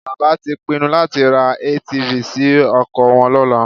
Bàbá tí pinnu láti ra ATV sí oko wọn lọ́la